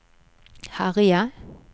herje